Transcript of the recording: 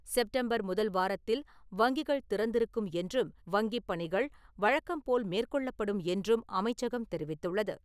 September முதல் வாரத்தில் வங்கிகள் திறந்து இருக்கும் என்றும் வங்கிப் பணிகள் வழக்கம் போல் மேற்கொள்ளப்படும் என்றும் அமைச்சகம் தெரிவித்துள்ளது.